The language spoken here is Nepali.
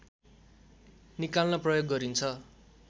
निकाल्न प्रयोग गरिन्छ